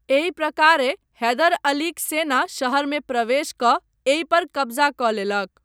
एहि प्रकारेँ हैदर अलीक सेना शहरमे प्रवेश कऽ एहि पर कब्जा कऽ लेलक।